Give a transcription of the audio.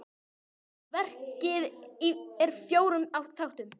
Verkið er í fjórum þáttum.